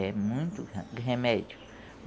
É muito re remédio.